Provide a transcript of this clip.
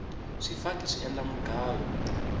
swifaki swi endla mugayo